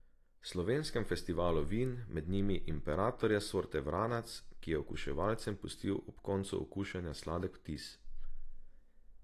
Slovenskem festivalu vin, med njimi Imperatorja sorte vranac, ki je okuševalcem pustil ob koncu okušanja sladek vtis.